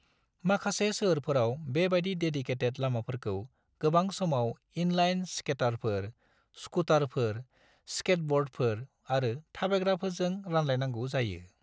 माखासे सोहोरफोराव बेबायदि देदिकेटेद लामाफोरखौ गोबां समाव इन-लाइन स्केटारफोर, स्कुटारफोर, स्केटब'र्डफोर आरो थाबायग्राफोरजों रानलायनांगौ जायो।